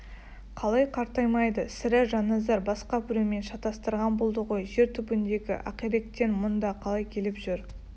қалай қартаймайды сірә жанназар басқа біреумен шатастырған болды ғой жер түбіндегі ақиректен мұнда қалай келіп жүр